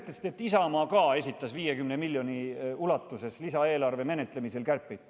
Nüüd sellest, et Isamaa esitas lisaeelarve menetlemisel 50 miljoni euro ulatuses kärpeid.